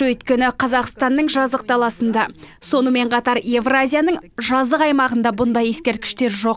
өйткені қазақстанның жазық даласында сонымен қатар евразияның жазық аймағында мұндай ескерткіштер жоқ